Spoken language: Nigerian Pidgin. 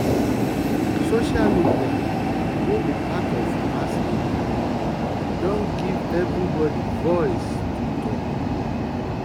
social media wey be part of mass media don give everybody voice to talk.